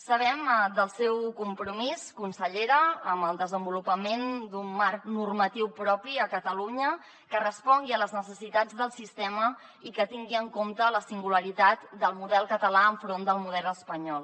sabem del seu compromís consellera amb el desenvolupament d’un marc normatiu propi a catalunya que respongui a les necessitats del sistema i que tingui en compte la singularitat del model català enfront del model espanyol